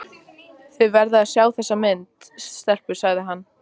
Þið verðið að sjá þessa mynd, stelpur! sagði hann.